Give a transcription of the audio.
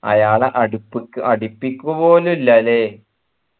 അയാളെ അടിപിക്ക പോള് ഇലല്ലേ